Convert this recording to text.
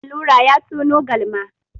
Allura ya tono galma.